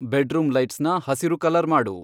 bedroom ಲೈಟ್ಸ್ನ ಹಸಿರು colour ಮಾಡು